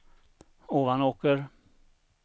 Ovanåker